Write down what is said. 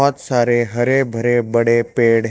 बहुत सारे हरे भरे बड़े पेड़--